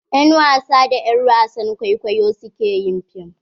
yan wasa da er wasan kwaikwayo su ke yin fim.